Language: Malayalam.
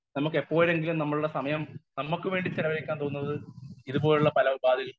സ്പീക്കർ 1 നമുക്ക് എപ്പോഴെങ്കിലും നമ്മുടെ സമയം നമുക്ക് വേണ്ടി ചിലവഴിക്കാൻ തോന്നുന്നത് ഇതുപോലുള്ള പല ഉപാധികാളിൽ